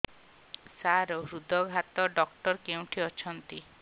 ସାର ହୃଦଘାତ ଡକ୍ଟର କେଉଁଠି ଅଛନ୍ତି